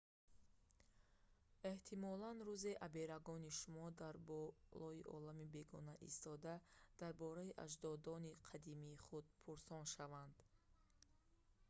эҳтимолан рӯзе аберагони шумо дар болои олами бегона истода дар бораи аҷдодони қадимии худ пурсон шаванд